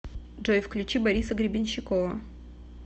джой включи бориса гребенщикова